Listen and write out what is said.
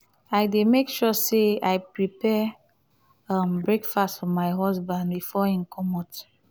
i dey make sure sey i prepare um breakfast for my husband before im comot.